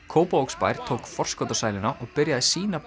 Kópavogsbær tók forskot á sæluna og byrjaði sína